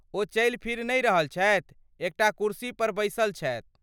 ओ चलि फिरि नहि रहल छथि, एकटा कुर्सीपर बैसल छथि।